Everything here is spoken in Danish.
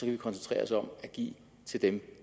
vi koncentrere os om at give til dem